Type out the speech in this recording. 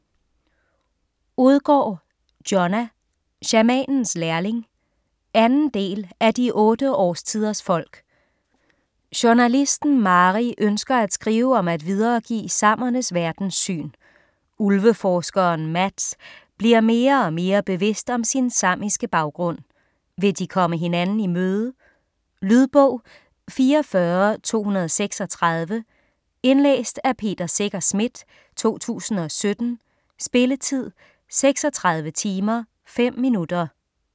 Odgaard, Jonna: Shamanens lærling 2. del af De otte årstiders folk. Journalisten Mari ønsker at skrive om at videregive samernes verdenssyn. Ulveforskeren Mats bliver mere og mere bevidst om sin samiske baggrund. Vil de komme hinanden i møde? Lydbog 44236 Indlæst af Peter Secher Schmidt, 2017. Spilletid: 36 timer, 5 minutter.